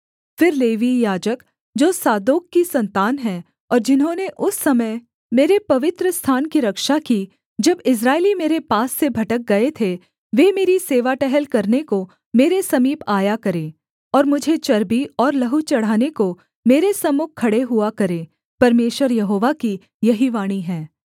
फिर लेवीय याजक जो सादोक की सन्तान हैं और जिन्होंने उस समय मेरे पवित्रस्थान की रक्षा की जब इस्राएली मेरे पास से भटक गए थे वे मेरी सेवा टहल करने को मेरे समीप आया करें और मुझे चर्बी और लहू चढ़ाने को मेरे सम्मुख खड़े हुआ करें परमेश्वर यहोवा की यही वाणी है